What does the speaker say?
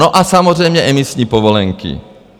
No a samozřejmě emisní povolenky.